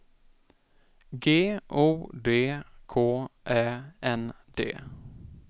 G O D K Ä N D